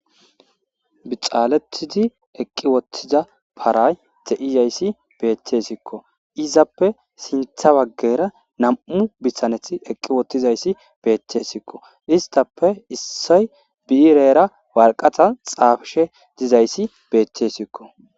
bixaaletidi eqqi wottiza paray de7iyayssi beettesikko izappe sintha waggeyra nam7u bissaneth eqqi wottizayssi beettessikko istappe issay biirera warqatan xaafishe dizayssi beettessikko